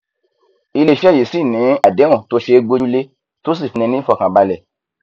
iléiṣẹ yìí sì ni àdéhùn tó ṣe é gbójúlé tó sì fúnni ní ìfọkànbalẹ